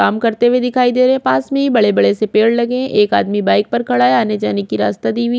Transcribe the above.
काम करते हुए दिखाई दे रहे है पास में बड़े बड़े से पेड़ लगे है एक आदमी बाइक पर खड़ा है आने जाने की रास्ता दी हुई--